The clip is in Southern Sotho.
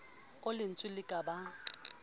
oo lentswe le ka bang